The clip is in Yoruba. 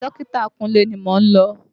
Yàrá dọkita kúnlé ni mò ń lọ.